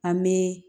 An bɛ